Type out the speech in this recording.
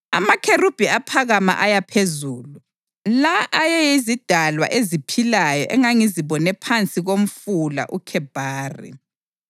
Amakherubhi aphakama aya phezulu. La ayeyizidalwa eziphilayo engangizibone phansi komfula uKhebhari.